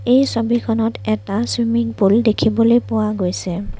এই ছবিখনত এটা চুইমিং পুল দেখিবলৈ পোৱা গৈছে।